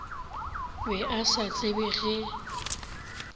be a sa tsebe ge